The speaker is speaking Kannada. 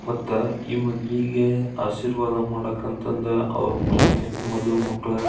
ಮತ್ತೆ ಈ ಮದ್ವಿಗೆ ಆಶೀರ್ವಾದ ಮಾಡಕಂತ ಅಂದ್ ಅವ್ರ ಮನಿ ಮದುಮಕ್ಕಳ್ --